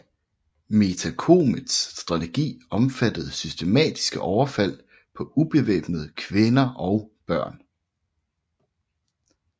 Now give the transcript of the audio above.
Metacomets strategi omfattede systematiske overfald på ubevæbnede kvinder og børn